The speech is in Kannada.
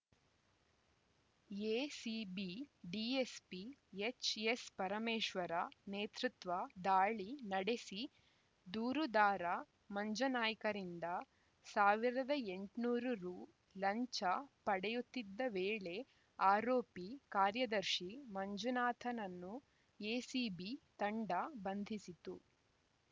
ಎಸಿಬಿ ಡಿಎಸ್ಪಿ ಎಚ್‌ಎಸ್‌ಪರಮೇಶ್ವರ ನೇತೃತ್ವ ದಾಳಿ ನಡೆಸಿ ದೂರುದಾರ ಮಂಜುನಾಯ್ಕರಿಂದ ಸಾವಿರದ ಎಂಟುನೂರು ರು ಲಂಚ ಪಡೆಯುತ್ತಿದ್ದ ವೇಳೆ ಆರೋಪಿ ಕಾರ್ಯದರ್ಶಿ ಮಂಜುನಾಥನನ್ನು ಎಸಿಬಿ ತಂಡ ಬಂಧಿಸಿತು